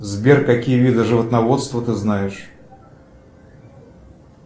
сбер какие виды животноводства ты знаешь